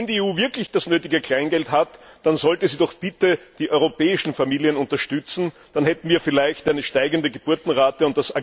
Wenn die EU wirklich das nötige Kleingeld hat, dann sollte sie doch bitte die europäischen Familien unterstützen, dann hätten wir vielleicht eine steigende Geburtenrate.